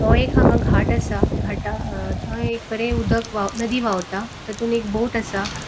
वो एक हांगा घाट असा घाटा थय एक बरे अ उदक वाव नदी वावता तातुन एक बोट असा.